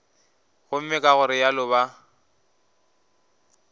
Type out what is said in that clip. gomme ka go realo ba